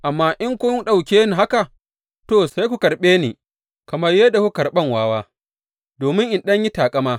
Amma in kun ɗauke ni haka, to, sai ku karɓe ni kamar yadda kuke karɓan wawa, domin in ɗan in yi taƙama.